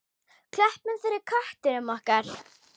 Klöppum fyrir köttum okkar!